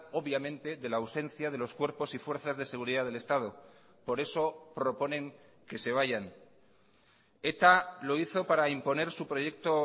obviamente de la ausencia de los cuerpos y fuerzas de seguridad del estado por eso proponen que se vayan eta lo hizo para imponer su proyecto